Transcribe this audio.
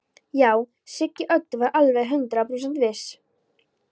Já, Siggi Öddu var alveg hundrað prósent viss.